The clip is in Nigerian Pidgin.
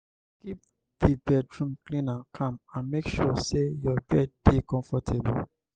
keep di bedroom clean and calm and make sure sey your bed dey comfortable